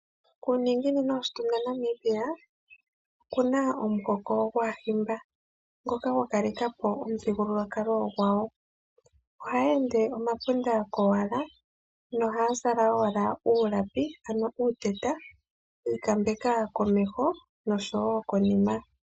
Kuuninginino woshitunda Namibia, oku na omuhoko gwAahimba, ngoka gwa kaleka po omuthigululwakalo gwawo. Ohayeende omapunda kowala nohaa zala kowala uulapi, ano uuteta yi ikambeka komeho noshowo konima.